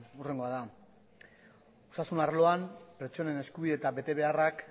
hurrengoa da osasun arloan pertsonen eskubide eta betebeharrak